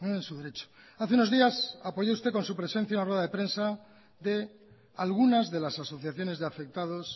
en su derecho hace unos días apoyó usted con su presencia una rueda de prensa de algunas de las asociaciones de afectados